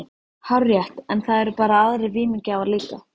Hárrétt, en það eru bara aðrir vímugjafar líka.